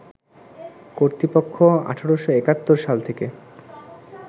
কর্তৃপক্ষ ১৮৭১ সাল থেকে